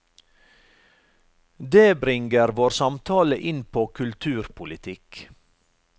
Det bringer vår samtale inn på kulturpolitikk.